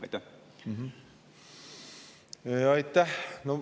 Aitäh!